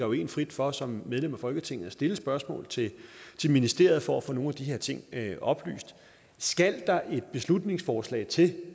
jo en frit for som medlem af folketinget at stille spørgsmål til ministeriet for at få nogle af de her ting oplyst skal der et beslutningsforslag til